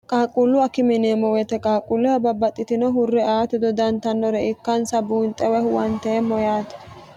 qaaqquullu akime yineemmo woyite qaaqquulleho babbaxxitino hurre aati dodantannore ikkansa buunxe buunixxe woy huwaniteemmo yaate